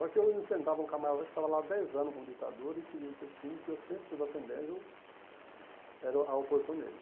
Só que eu enfrentava um camarada que estava lá dez anos como ditador e queria ele ser síndico, e eu sempre, nas assembléias, eu era o a oposição dele.